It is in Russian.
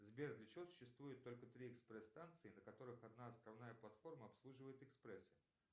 сбер для чего существует только три экспресс станции на которых одна основная платформа обслуживает экспрессы